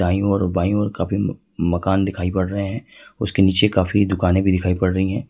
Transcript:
दाई ओर बाईं ओर काफी मकान दिखाई पड़ रहे हैं उसके नीचे काफी दुकान भी दिखाई पड़ रही है।